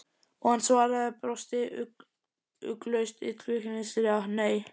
Og hann svaraði, og brosti ugglaust illkvittnislega: Nei.